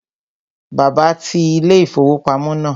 Bàbá ti ilé-ìfowópamọ́ náà